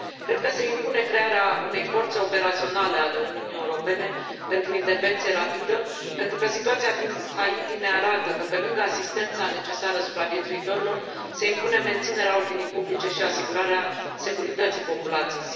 Cred că se impune crearea unei forțe operaționale a Uniunii Europene pentru intervenție rapidă, pentru că situația din Haiti ne arată că, pe lângă asistența necesară supraviețuitorilor, se impune menținerea ordinii publice și asigurarea securității populației.